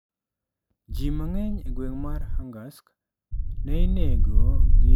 Ji mang'eny e gweng mar Angarsk ne inego gi lee kod nyundo.